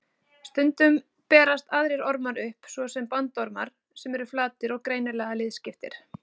Stundum berast aðrir ormar upp, svo sem bandormar sem eru flatir og greinilega liðskiptir.